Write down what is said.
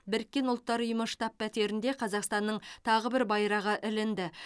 біріккен ұлттар ұйымы штаб пәтерінде қазақстанның тағы бір байрағы ілінді